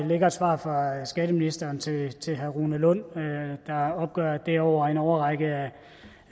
ligger et svar fra skatteministeren til til herre rune lund der opgør at det over en årrække